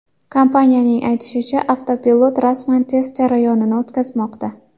Kompaniyaning aytishicha, avtopilot rasman test jarayonini o‘tkazmoqda.